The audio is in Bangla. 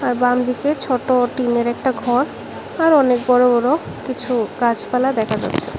আর বামদিকে ছোট টিনের একটা ঘর আর অনেক বড় বড় কিছু গাছপালা দেখা যাচ্ছে।